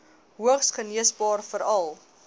hoogs geneesbaar veral